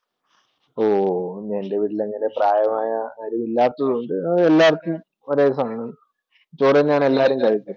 ഓ എൻ്റെ വീട്ടിൽ അങ്ങനെ പ്രായമായ ആരുമില്ലാത്തതു കൊണ്ട് എല്ലാര്ക്കും ഒരേ സാധനമാണ് ചോറ് തന്നെയാ എല്ലാരും കഴിക്കുന്നത്.